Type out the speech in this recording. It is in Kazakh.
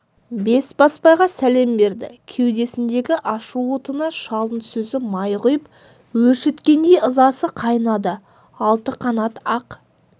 бесбасбайға сәлем берді кеудесіндегі ашу отына шалдың сөзі май құйып өршіткендей ызасы қайнады алты қанат ақ